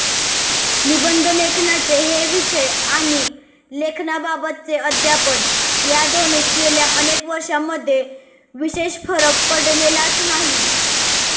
निबंधलेखनाचे हे विषय आणि लेखनाबाबतचे अध्यापन या दोन्हींत गेल्या अनेक वर्षांमध्ये विशेष फरक पडलेलाच नाही